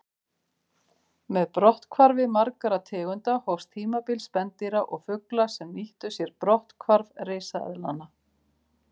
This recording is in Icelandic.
Með brotthvarfi margra tegunda hófst tímabil spendýra og fugla sem nýttu sér brotthvarf risaeðlanna.